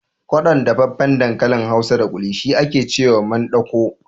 Kwaɗon dafaffen dankalin hausa da ƙuli shi ake cewa mandaƙo